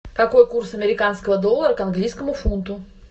какой курс американского доллара к английскому фунту